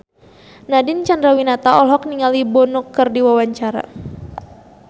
Nadine Chandrawinata olohok ningali Bono keur diwawancara